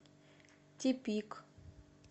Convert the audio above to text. тепик